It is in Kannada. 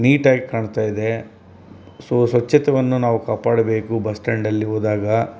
ನೀಟಾಗಿ ಕಾಣ್ತಾಯಿದೆ ಸೊ ಸ್ವಛತವನ್ನು ನಾವ್ ಕಾಪಾಡಬೇಕು ಬಸ್ ಸ್ಟಾಂಡಲ್ಲಿ ಹೋದಾಗ --